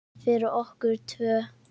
Fyrir okkur tvö.